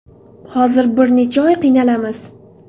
Hozir bir necha oy qiynalamiz.